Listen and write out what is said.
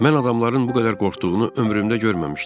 Mən adamların bu qədər qorxduğunu ömrümdə görməmişdim.